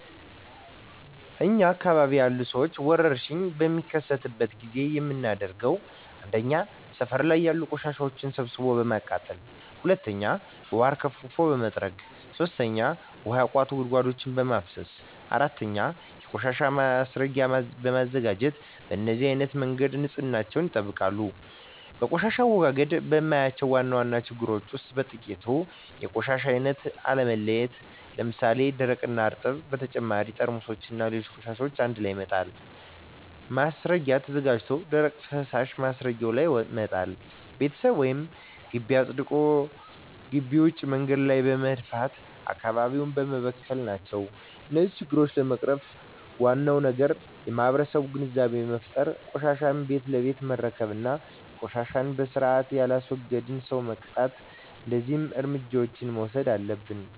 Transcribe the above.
እኛ አካባቢ ያሉ ሠዎች ወርሽኝ በሚከሰትበት ጊዜ የምናደርገው 1. ሠፈር ላይ ያሉ ቆሻሻዎችን ሠብስቦ በማቃጠል 2. ውሀ አርከፍክፎ በመጥረግ 3. ውሀ ያቋቱ ጉድጓዶችን በማፋሠስ 4. የቆሻሻ ማስረጊያ በማዘጋጀት በነዚህ አይነት መንገድ ንፅህናቸውን ይጠብቃሉ። በቆሻሻ አወጋገድ የማያቸው ዋና ዋና ችግሮች ውስጥ በጥቂቱ 1. የቆሻሻ አይነት አለመለየት ለምሣሌ፦ ደረቅ፣ እርጥብ እና በተጨማሪ ጠርሙስና ሌሎች ቆሻሻዎችን አንድላይ መጣል። 2. ማስረጊያ ተዘጋጅቶ ደረቅና ፈሣሽ ማስረጊያው ላይ መጣል። 3. ቤት ወይም ግቢ አፅድቶ ግቢ ውጭ መንገድ ላይ በመድፋት አካባቢውን መበከል ናቸው። እነዚህን ችግሮች ለመቅረፍ ዋናው ነገር ለማህበረሠቡ ግንዛቤ መፍጠር፤ ቆሻሻን ቤት ለቤት መረከብ እና ቆሻሻን በስርአት የላስወገደን ሠው መቅጣት። እደዚህ እርምጃዎች መውሠድ አለብን።